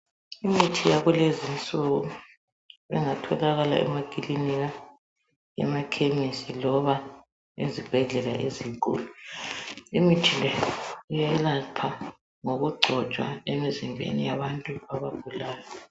Imithi yakulezinsuku engatholakala emakilinika, emakhemisi loba ezibhedlela ezinkulu. Imithi le iyelapha ngokugcotshwa emizimbeni yabantu abagulayo.